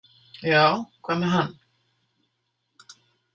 Já, hvað með hann?